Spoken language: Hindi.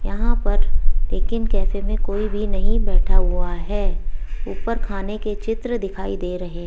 यहां पर टेक इन कैफे मे कोई भी नहीं बैठा हुआ है ऊपर खाने के चित्र दिखाई दे रहे --